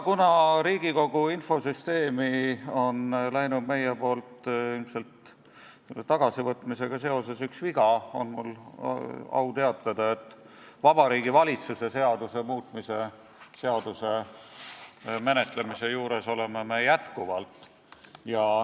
Kuna Riigikogu infosüsteemi on läinud üks viga, ilmselt ühe meie tagasivõtmisega seoses, on mul au teatada, et oleme endiselt Vabariigi Valitsuse seaduse muutmise seaduse menetlemise juures.